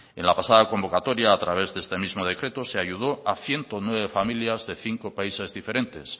en la pasada convocatoria a través de este mismo decreto se ayudó a ciento nueve familias de cinco países diferentes